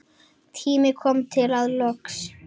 Tími kominn til að losna.